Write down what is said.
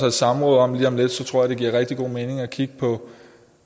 et samråd om lige om lidt tror jeg det giver rigtig god mening at kigge på